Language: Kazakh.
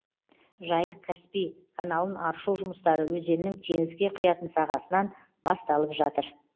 жайық каспий каналын аршу жұмыстары өзеннің теңізге құятын сағасынан басталватыр